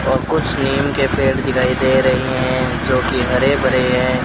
और कुछ नीम के पेड़ दिखाई दे रहें हैं जो की हरे भरे हैं।